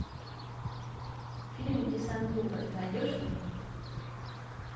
фильм десантура найдешь мне